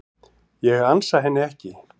Ég ansa henni ekki.